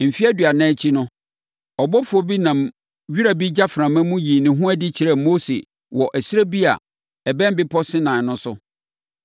“Mfeɛ aduanan akyi no, ɔbɔfoɔ bi nam wira bi gyaframa mu yii ne ho adi kyerɛɛ Mose wɔ ɛserɛ bi a ɛbɛn bepɔ Sinai no so.